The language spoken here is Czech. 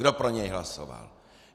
Kdo pro něj hlasoval?